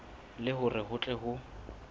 le hore ho tle ho